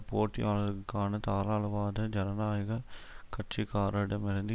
போட்டியாளர்கான தாராளவாத ஜனநாயக கட்சிக்காரிடமிருந்து